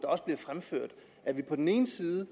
også bliver fremført at vi på den ene side